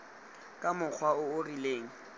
ka mokgwa o o rileng